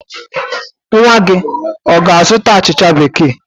Nwa gị ọ ga-azụta achịcha Bekee?